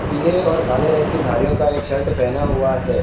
पीले और काले रंग का धारियों का एक शर्ट पहना हुआ है।